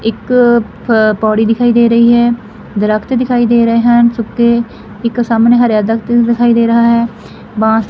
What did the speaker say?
ਇੱਕ ਪੌੜੀ ਦਿਖਾਈ ਦੇ ਰਹੀ ਹੈ ਦ੍ਰਖਤ ਦਿਖਾਈ ਦੇ ਰਹੇ ਹਨ ਸੁੱਖੇ ਇੱਕ ਸਾਹਮਣੇ ਹਾਰੇਆ ਦ੍ਰਖਤ ਦਿਖਾਈ ਦੇ ਰਹਾ ਹੈ ਬਾਂਸ--